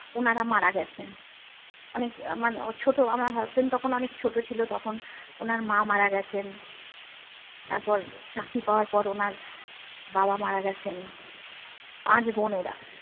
ওনারা মারা গেছেন। অনেক মানে ছোট আমার husband তখন অনেক ছোট ছিল তখন ওনার মা মারা গেছেন তারপর চাকরি পাওয়ার পর ওনার বাবা মারা গেছেন পাঁচ বোন এরা।